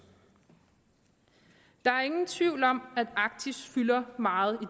der er ingen tvivl om at arktis fylder meget